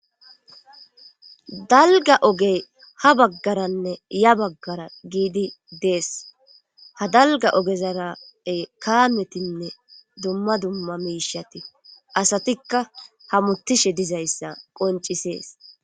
Dalga ogey ha baggaranne ya baggara giidi dees ha dalga ogezarae kaametinne dumma dumma miishati asatikka hamutishe dizayssa qoncisees.